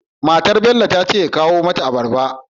Matar Bello tace ya kawo mata abarba